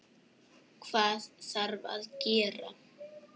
Hvað þarf að gera?